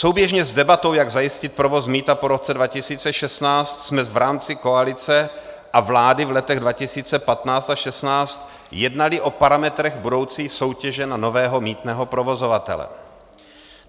Souběžně s debatou, jak zajistit provoz mýta po roce 2016, jsme v rámci koalice a vlády v letech 2015 a 2016 jednali o parametrech budoucí soutěže na nového mýtného provozovatele.